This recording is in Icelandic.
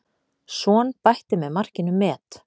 Son bætti með markinu met.